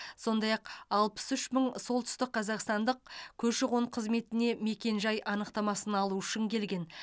сондай ақ алпыс үш мың солтүстікқазақстандық көші қон қызметіне мекен жай анықтамасын алу үшін келген